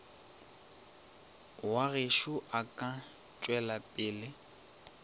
wa gešo o ka tšwelapele